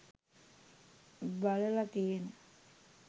බලලා තියෙන